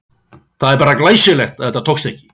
Það er bara glæsilegt að það tókst ekki!